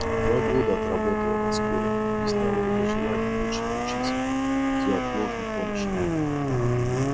два года отработала на скорой объясняла это желанием лучше научиться неотложной помощи